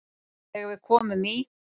Þegar við komum í